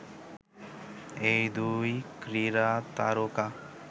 এই দুই ক্রীড়া তারকা